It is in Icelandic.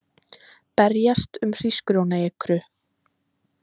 Berjast um hrísgrjónaekru